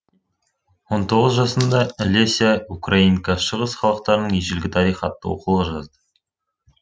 он тоғыз жасында жасында леся украинка шығыс халықтарының ежелгі тарихы атты оқулық жазды